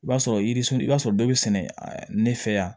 I b'a sɔrɔ yiririso i b'a sɔrɔ dɔ bɛ sɛnɛ ne fɛ yan